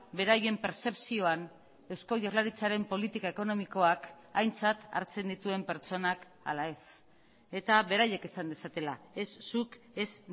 beraien pertzepzioan eusko jaurlaritzaren politika ekonomikoak aintzat hartzen dituen pertsonak ala ez eta beraiek esan dezatela ez zuk ez